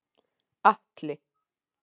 Atli